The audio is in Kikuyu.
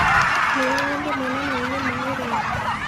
Nĩũrĩ wathiĩ monanioinĩ ma ũrĩmi.